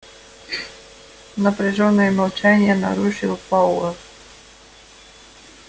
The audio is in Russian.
напряжённое молчание нарушил пауэлл